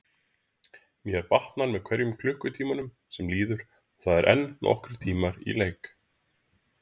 Mér batnar með hverjum klukkutímanum sem líður og það eru enn nokkrir tímar í leik.